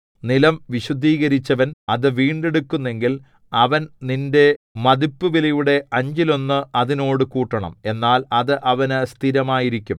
നിലം വിശുദ്ധീകരിച്ചവൻ അത് വീണ്ടെടുക്കുന്നെങ്കിൽ അവൻ നിന്റെ മതിപ്പുവിലയുടെ അഞ്ചിലൊന്ന് അതിനോട് കൂട്ടണം എന്നാൽ അത് അവനു സ്ഥിരമായിരിക്കും